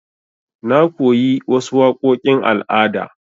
Na koyi wasu waƙoƙin al'ada.